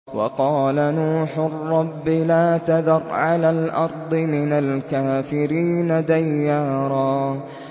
وَقَالَ نُوحٌ رَّبِّ لَا تَذَرْ عَلَى الْأَرْضِ مِنَ الْكَافِرِينَ دَيَّارًا